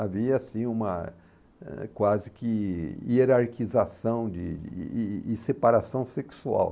Havia, assim, uma eh quase que hierarquização de de e e separação sexual.